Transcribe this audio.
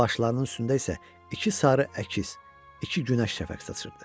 Başlarının üstündə isə iki sarı əkiz, iki günəş şəfəq saçırdı.